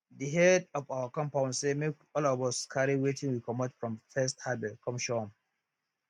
de head of our compound say make all of us carry wetin we comot from first harvest come show am